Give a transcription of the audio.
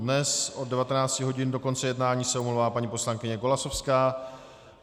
Dnes od 19 hodin do konce jednání se omlouvá paní poslankyně Golasowská.